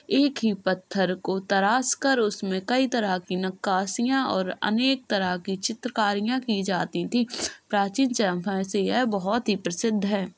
एक ही पत्थर को तराश कर उस में कई तरह की नक्काशियाँ और अनेक की तरह की चित्रकारियाँ की जाती थीं। प्राचीन समय से यह बोहोत प्रसिद्ध है।